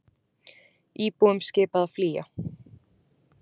Íbúum skipað að flýja